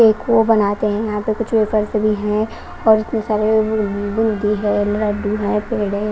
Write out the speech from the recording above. एक वो बनाते हैं यहां पे कुछ वेफर्स भी हैं और इतने सारे बूंदी है लड्डू है पेड़े--